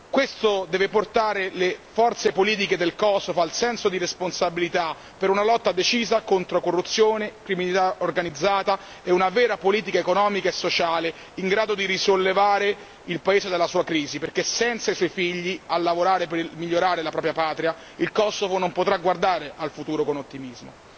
Questo deve portare le forze politiche del Kosovo al senso di responsabilità per una lotta decisa contro corruzione, criminalità organizzata e una vera politica economica e sociale, in grado di risollevare il paese dalla sua crisi, perché senza i suoi figli a lavorare per migliorare la propria patria, il Kosovo non potrà guardare al futuro con ottimismo.